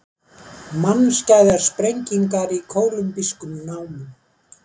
Mannskæðar sprengingar í kólumbískum námum